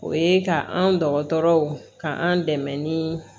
O ye ka an dɔgɔtɔrɔw ka an dɛmɛ ni